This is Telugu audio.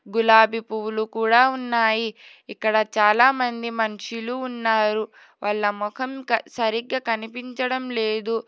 గులాబీ పువ్వులు కూడా ఉన్నాయి ఇక్కడ చాలామంది మనుషులు ఉన్నారు వాళ్ళ ముఖం సరిగ్గా కనిపించడం లేదు.